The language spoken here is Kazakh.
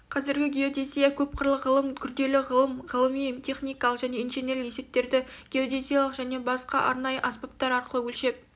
қазіргі геодезия көп қырлы ғылым күрделі ғылыми ғылыми-техникалық және инженерлік есептерді геодезиялық және басқа арнайы аспаптар арқылы өлшеп